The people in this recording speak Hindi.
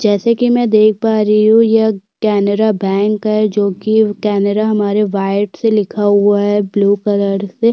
जैसे कि मे देख पा रही हूं यह केनरा बैंक है जो की केनरा हमारे व्हाइट से लिखा हुआ है ब्लू कलर से --